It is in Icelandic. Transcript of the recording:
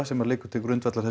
sem liggur til grundvallar